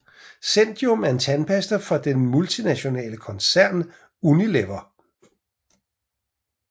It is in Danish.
zendium er en tandpasta fra den multinationale koncern Unilever